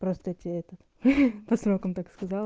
просто тебе это по срокам так сказала